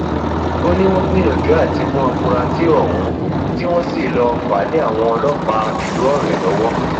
ó ní wọn wọn gbìyànjú àti mú àfúrásì ohun tí wọn sì lọọ fà á lé àwọn ọlọpàá ìlú ọrẹ lọwọ